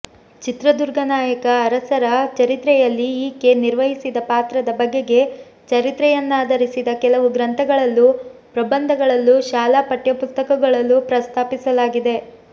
ಚಿತ್ರದುರ್ಗ ನಾಯಕ ಅರಸರ ಚರಿತ್ರೆಯಲ್ಲಿ ಈಕೆ ನಿರ್ವಹಿಸಿದ ಪಾತ್ರದ ಬಗೆಗೆ ಚರಿತ್ರೆಯನ್ನಾಧರಿಸಿದ ಕೆಲವು ಗ್ರಂಥಗಳಲ್ಲೂ ಪ್ರಬಂಧಗಳಲ್ಲೂ ಶಾಲಾ ಪಠ್ಯಪುಸ್ತಕಗಳಲ್ಲೂ ಪ್ರಸ್ತಾಪಿಸಲಾಗಿದೆ